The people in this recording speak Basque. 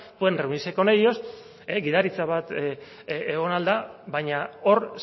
pueden reunirse con ellos gidaritza bat egon ahal da baina hor